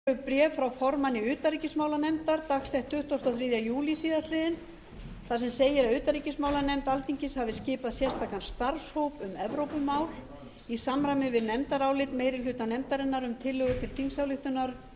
forseti vill tilkynna að borist hefur bréf frá formanni utanríkismálanefndar dagsett tuttugasta og þriðja júlí síðastliðinn þar sem segir að utanríkismálanefnd alþingis hafi skipað sérstakan starfshóp um evrópumál í samræmi við nefndarálit meiri hluta nefndarinnar um tillögu til þingsályktunar